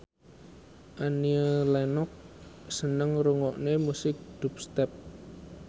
Annie Lenox seneng ngrungokne musik dubstep